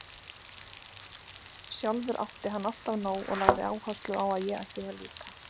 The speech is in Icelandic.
Sjálfur átti hann alltaf nóg og lagði áherslu á að ég ætti það líka.